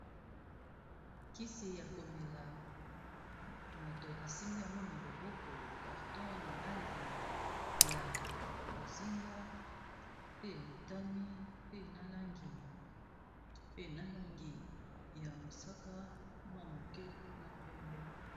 Kisi ya koméla moto asimbi yango na loboko carton na langi ya bozinga pe motani pe na langi ya mosaka mwa moké na pembé.